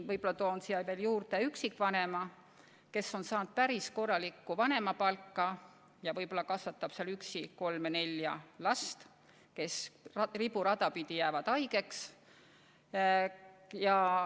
Ma toon näiteks üksikvanema, kes on saanud päris korralikku vanemapalka ja võib-olla kasvatab üksi kolme-nelja last, kes riburada pidi jäävad haigeks.